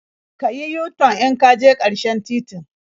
Ka yi yu-tan in ka je ƙarshen titin.